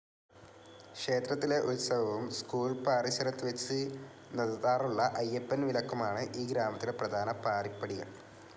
ക്ഷേത്രത്തിലെ ഉത്സവവും സ്കൂൾ പാറിശരത് വെച്ച് നദതാറുള്ള അയ്യപ്പൻ വിലക്കുമാണ് ഈ ഗ്രാമത്തിലെ പ്രധാന പാറിപടികൾ